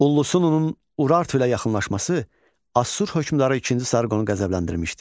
Ullusununun Urartu ilə yaxınlaşması Assur hökmdarı ikinci Sarqonu qəzəbləndirmişdi.